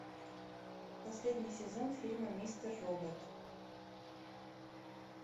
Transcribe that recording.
последний сезон фильма мистер робот